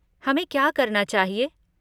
हमें क्या करना चाहिए?